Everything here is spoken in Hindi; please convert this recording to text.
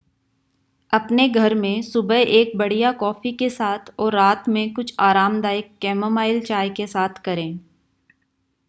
अपने घर में सुबह एक बढ़िया कॉफी के साथ और रात में कुछ आरामदायक कैमोमाइल चाय के साथ करें